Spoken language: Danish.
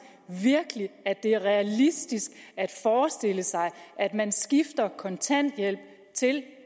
virkelig at det er realistisk at forestille sig at man skifter fra kontanthjælp til